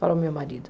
Falou o meu marido.